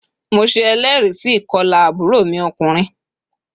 Mo se eléèrí sí ìkolà àbúrò mi okùnrin